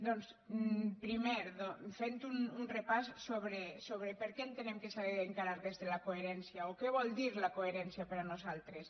doncs primer fent un repàs sobre per què entenem que s’ha d’encarar des de la coherència o què vol dir la coherència per nosaltres